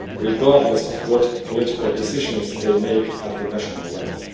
regardless of what political decisions they make at the national level.